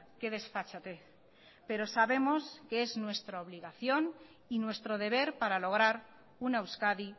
qué desfachatez pero sabemos que es nuestra obligación y nuestro deber para lograr una euskadi